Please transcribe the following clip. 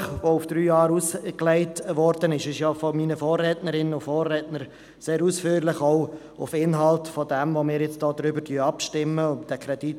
Über den auf drei Jahre ausgelegten Modellversuch haben meine Vorrednerinnen und Vorredner sehr ausführlich gesprochen, auch über den Kredit von fast 11 Mio. Franken, über den wir heute abstimmen werden.